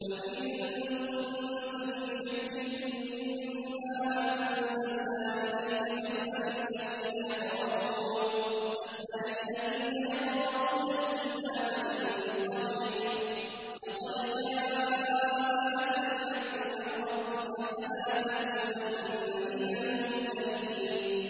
فَإِن كُنتَ فِي شَكٍّ مِّمَّا أَنزَلْنَا إِلَيْكَ فَاسْأَلِ الَّذِينَ يَقْرَءُونَ الْكِتَابَ مِن قَبْلِكَ ۚ لَقَدْ جَاءَكَ الْحَقُّ مِن رَّبِّكَ فَلَا تَكُونَنَّ مِنَ الْمُمْتَرِينَ